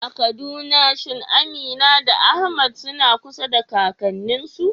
A Kaduna shin Amina da Ahmad suna kusa da kakanninsu?